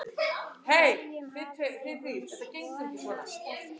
Hverjum hafði hún vonast eftir?